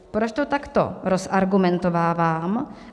Proč to takto rozargumentovávám?